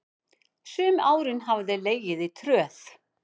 Sum árin hafa þeir legið í tröð.